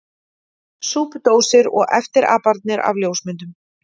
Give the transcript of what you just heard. Súpudósir og eftirapanir af ljósmyndum!